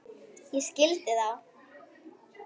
Ég skildi þá.